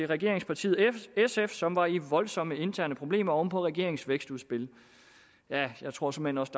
regeringspartiet sf som var i voldsomme interne problemer oven på regeringens vækstudspil jeg jeg tror såmænd også